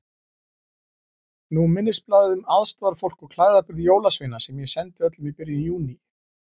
Nú minnisblaðið um aðstoðarfólk og klæðaburð jólasveina sem ég sendi öllum í byrjun Júní.